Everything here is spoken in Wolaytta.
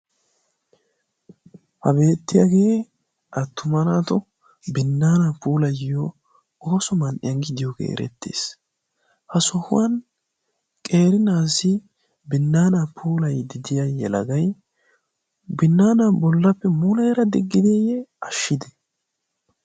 ha beettiyaagee attumanaato binnaana puulayyo oosoman iyanggiidiyoogee erettees. ha sohuwan qerinaasi binnaana puulai didiyayyelagai binnaana bollappe muleera diggideeyye ashshide?